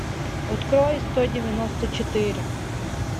открой сто девяносто четыре